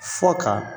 Fɔ ka